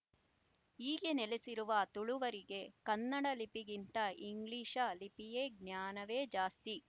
ಹೀಗೆ ನೆಲೆಸಿರುವ ತುಳುವರಿಗೆ ಕನ್ನಡ ಲಿಪಿಗಿಂತ ಇಂಗ್ಲಿಶ ಲಿಪಿಯ ಜ್ಞಾನವೇ ಜಾಸ್ತಿ